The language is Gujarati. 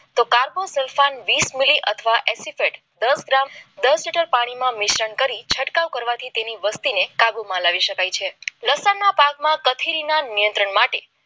કાર્બોસલમાન અને વીસ મીલી સલ્ફેટ દસ ગ્રામ દસ લીટર પાણીમાં મિશ્રણ કરી છંટકાવ કરવાથી તેની વસ્તી કાબુમાં લાવી શકાય છે લસણના પાકમાં નિયંત્રણ માટે